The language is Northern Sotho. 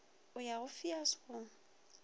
o ya go feus go